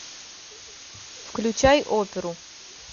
включай оперу